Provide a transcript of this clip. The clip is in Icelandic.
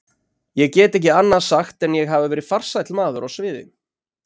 Ég get ekki annað sagt en ég hafi verið farsæll maður á sviði.